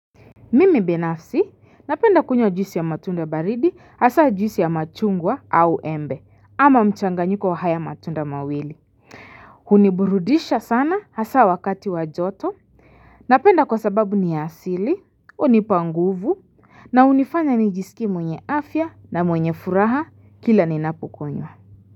Mimi binafsi napenda kunywa juisi ya matunda baridi hasa juisi ya machungwa au embe ama mchanganyiko wa haya matunda mawili huniburudisha sana hasaa wakati wa joto Napenda kwa sababu ni asili unipa nguvu na unifanya nijisikie mwenye afya na mwenye furaha kila ninapukunywa.